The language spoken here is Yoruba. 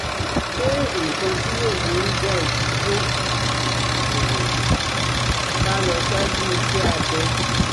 Ṣe nǹkan tí yóò burú jáì tí kò bá lọ ṣáájú iṣẹ́ abẹ?